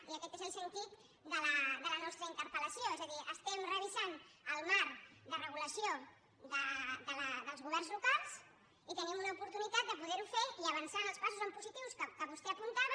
i aquest és el sentit de la nostra interpelés a dir estem revisant el marc de regulació dels governs locals i tenim una oportunitat de poder ho fer i avançar en els passos en positiu que vostè apuntava